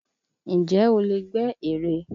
Ǹjẹ́ o lè gbẹ́ ère?